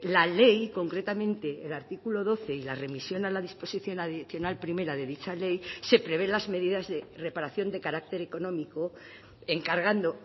la ley concretamente el artículo doce y la remisión a la disposición adicional primera de dicha ley se prevé las medidas de reparación de carácter económico encargando